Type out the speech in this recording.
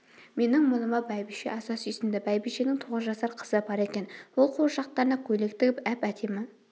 менің мұныма бәйбіше аса сүйсінді бәйбішенің тоғыз жасар қызы бар екен ол қуыршақтарына көйлек тігіп әп-әдемі